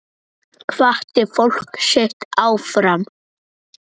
Hvatti fólkið sitt áfram.